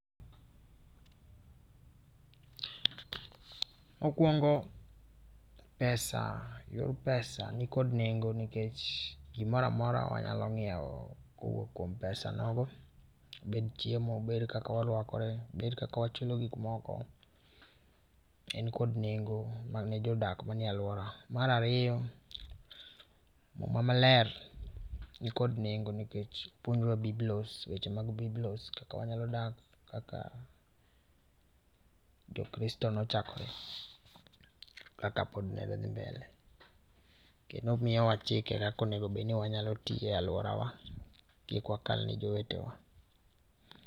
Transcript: Mokuongo pesa, yor pesa, nikod nengo nikech gimoro amora wanyalo ngiew kowuok kuom pesa, nogo ,obed chiemo obed kaka warwakore obed kaka wachulo gik moko en kod nengo mane jodak manie aluora. Mar ariyo muma maler nikod nengo nikech opuonjowa biblos, weche mag biblos kaka wanyalo dak kaka jo kristo nochakore, kaka pod medo dhi mbele kendo omiyowa chike kaka onego ni wanyalo tiye aluorawa kik wakal ne jowetewa